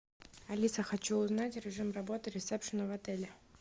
алиса хочу узнать режим работы ресепшена в отеле